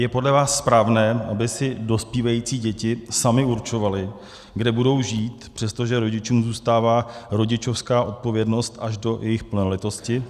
Je podle vás správné, aby si dospívající děti samy určovaly, kde budou žít, přestože rodičům zůstává rodičovská odpovědnost až do jejich plnoletosti?